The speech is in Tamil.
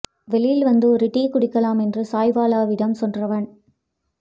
வெளியில் வந்து ஒரு டீ குடிக்கலாம் என்று சாய்வாலா விடம் சென்றவன்